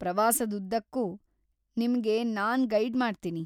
ಪ್ರವಾಸದುದ್ದಕ್ಕೂ ನಿಮ್ಗೆ ನಾನ್‌ ಗೈಡ್‌ ಮಾಡ್ತೀನಿ.